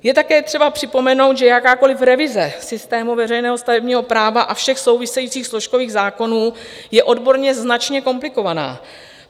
Je také třeba připomenout, že jakákoliv revize systému veřejného stavebního práva a všech souvisejících složkových zákonů je odborně značně komplikovaná.